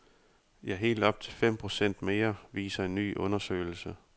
Ja, helt op til fem procent mere viser en ny undersøgelse.